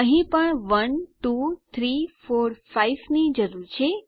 અહીં પણ 1 2 3 4 5 ની જરૂર છે